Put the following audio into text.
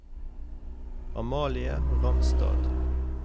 Amalie Ramstad